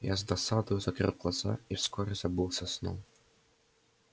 я с досадою закрыл глаза и вскоре забылся сном